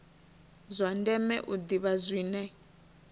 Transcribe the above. zwa ndeme u ḓivha zwine